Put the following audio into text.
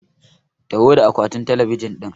Taho da akwatin talabijin ɗin!